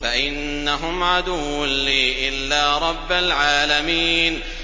فَإِنَّهُمْ عَدُوٌّ لِّي إِلَّا رَبَّ الْعَالَمِينَ